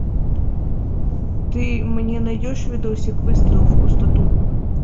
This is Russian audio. ты мне найдешь видосик выстрел в пустоту